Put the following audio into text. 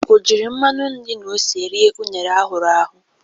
O jiri mmanụ nri na ose ri unere ahụru ahụ?